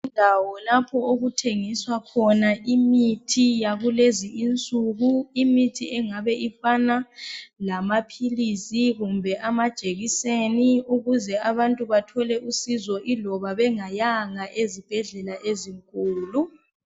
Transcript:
Indawo lapho okuthengiswa khona imithi yakulezi insuku efana lamaphilisi lamajekiseni ukuze abantu bathole usizo loba bengayanga ezibhedlela ezinkulu.